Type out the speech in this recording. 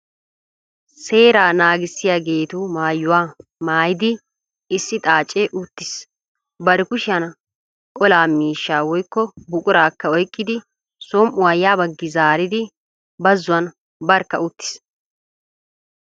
Seeraa naagissiyageetu maayuwa maayidi issi xaacee uttiis. Bari kushiyan olaa miishshaa woykko buquraakka oyqqidi som"uya ya baggi zaaridi bazzuwan barkka uttiis.